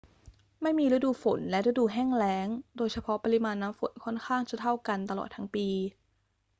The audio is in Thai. ไม่มีฤดู ฝน และฤดู แห้งแล้ง โดยเฉพาะ ปริมาณน้ำฝนค่อนข้างจะเท่ากันตลอดทั้งปี